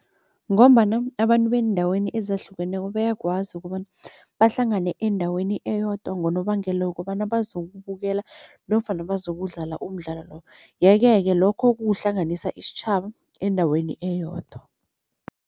Ngombana abantu beendaweni ezahlukeneko bayakwazi bahlangane endaweni eyodwa ngonobangela wokobana bazokubukela nofana bazokudlala umdlalo lo, yeke-ke lokho kukuhlanganisa isitjhaba endaweni eyodwa.